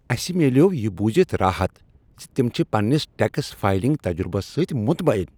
اسہ میلیو یہ بوزِتھ راحت ز تم چھ پننس ٹیکس فائلنگ تجربس سۭتۍ مطمئن۔